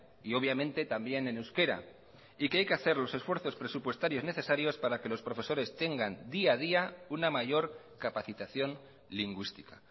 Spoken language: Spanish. y obviamente también en euskera y que hay que hacer los esfuerzos presupuestarios necesarios para que los profesores tengan día a día una mayor capacitación lingüística